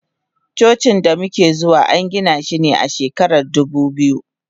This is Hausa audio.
Cocin damuke zuwa angina shi a shekarar dubu biyu.